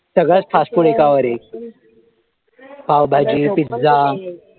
सगळंच fast food एकावर एक पावभाजी, पिझ्झा